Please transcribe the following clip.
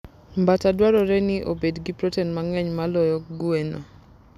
Mbata dwarore ni obed gi protein mang'eny moloyo gweno.